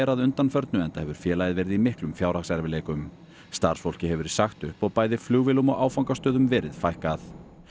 að undanförnu enda hefur félagið verið í miklum fjárhagserfiðleikum starfsfólki hefur verið sagt upp og bæði flugvélum og áfangastöðum verið fækkað